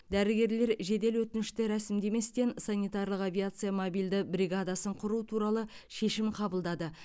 дәрігерлер жедел өтінішті рәсімдеместен санитарлық авиация мобильді бригадасын құру туралы шешім қабылдады